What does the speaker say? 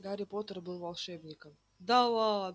гарри поттер был волшебником